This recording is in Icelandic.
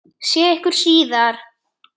Sé ykkur síðar.